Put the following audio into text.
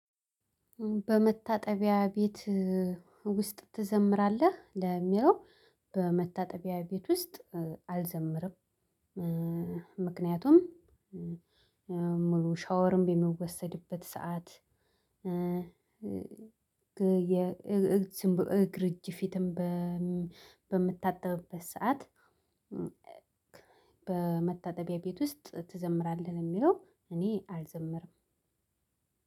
በመታጠቢያ ቤት ውስጥ ትዘምራለህ ለሚለው? በመታጠቢያ ቤት ውስጥ አልዘምርም። ምክንያቱም ሙሉ ሻወርም በሚወሰድበት ሰዓት። የግርጅ እግር እጅ ፊትም በምታጠብበት ሰዓት። በመታጠቢያ ቤት ውስጥ ትዘምራለህ የሚለው እኔ አልዘምርም።